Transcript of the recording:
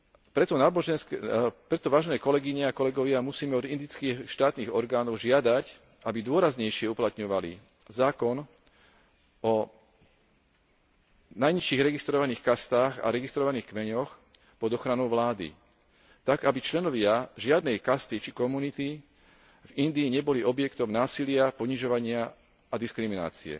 Preto, vážené kolegyne a kolegovia, musíme od indických štátnych orgánov žiadať, aby dôraznejšie uplatňovali zákon o najnižších registrovaných kastách a registrovaných kmeňoch pod ochranou vlády tak, aby členovia žiadnej kasty či komunity v Indii neboli objektom násilia, ponižovania a diskriminácie.